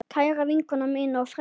Kæra vinkona mín og frænka.